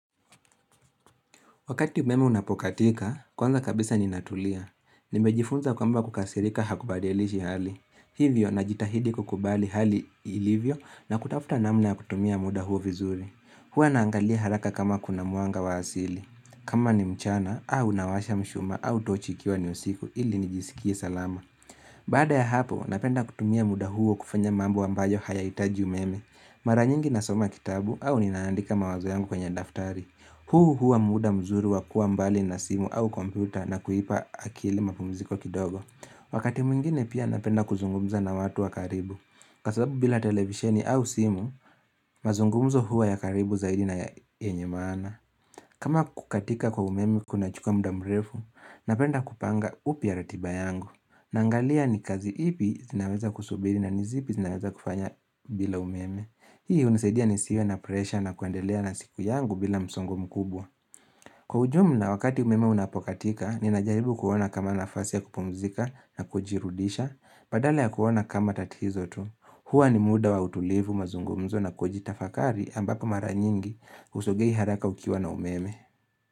Wakati umeme unapokatika, kwanza kabisa ninatulia. Nimejifunza kwamba kukasirika hakubadilishi hali. Hivyo na jitahidi kukubali hali ilivyo na kutafuta namna ya kutumia muda huo vizuri. Huwa naangalia haraka kama kuna mwanga wa asili. Kama ni mchana, au nawasha mshuma, au tochi ikiwa ni usiku ili nijisikie salama. Baada ya hapo, napenda kutumia muda huo kufanya mambo ambayo hayahitaji umeme. Mara nyingi nasoma kitabu au ninaandika mawazo yangu kwenye daftari. Huu hua muda mzuri wa kua mbali na simu au kompyuta na kuipa akili mapumziko kidogo Wakati mwingine pia napenda kuzungumza na watu wakaribu Kwasabu bila televisheni au simu, mazungumzo hua ya karibu zaidi na yenye maana kama kukatika kwa umeme kunachukua mda mrefu, napenda kupanga upya ratiba yangu Nangalia ni kazi ipi zinaweza kusubiri na nizipi zinaweza kufanya bila umeme Hii unisaidia nisiwe na presha na kuandelea na siku yangu bila msongo mkubwa Kwa ujumla wakati umeme unapokatika, ninajaribu kuona kama nafasi ya kupumzika na kujirudisha badala ya kuona kama tatizo tu Hua ni muda wa utulivu mazungumzo na kujitafakari ambapo mara nyingi usogei haraka ukiwa na umeme.